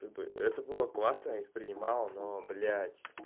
это это было классно я их принимал но блять